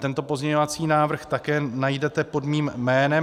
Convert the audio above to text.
Tento pozměňovací návrh také najdete pod mým jménem.